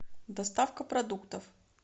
доставка продуктов